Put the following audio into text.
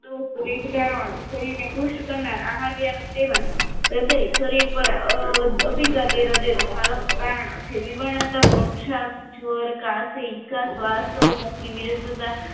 દોસ વેગ ધારણો શરીરને ક્રૂસ્ટ કરનાર આહાર વ્યવનું સેવન હ્રદય શરીર પર કારણો જે વિવાનતા મોક્ષા જ્વર કારસી કસ્વાદ મુખની વિરુકસૂતા